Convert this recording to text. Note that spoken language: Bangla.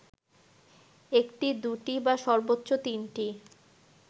একটি, দুটি বা সর্বোচ্চ তিনটি